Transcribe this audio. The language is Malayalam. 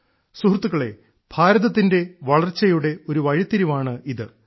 സുഹൃത്തുക്കളേ ഭാരതത്തിന്റെ വളർച്ചയുടെ ഒരു വഴിത്തിരിവാണിത്